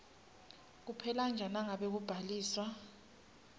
kuphelanje nangabe kubhaliswa